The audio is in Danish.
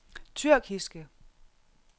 tyrkiske